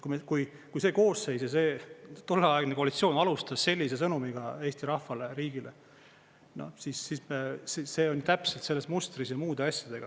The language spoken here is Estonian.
Kui see koosseis ja see tolleaegne koalitsioon alustas sellise sõnumiga Eesti rahvale ja riigile, siis see on täpselt mustris muude asjadega.